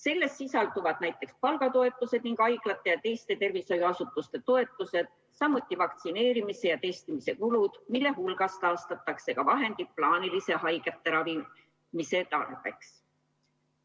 Selles sisalduvad näiteks palgatoetused ning haiglate ja teiste tervishoiuasutuste toetused, samuti vaktsineerimise ja testimise kulud, mille hulgas taastatakse ka vahendid plaaniliste haigete ravimise tarbeks.